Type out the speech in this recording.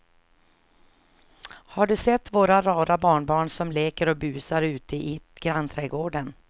Har du sett våra rara barnbarn som leker och busar ute i grannträdgården!